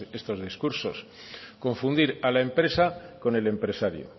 estos discursos confundir a la empresa con el empresario